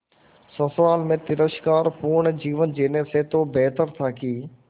ससुराल में तिरस्कार पूर्ण जीवन जीने से तो बेहतर था कि